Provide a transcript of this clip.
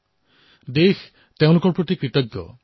সমগ্ৰ দেশ তেওঁলোকৰ প্ৰতি কৃতজ্ঞ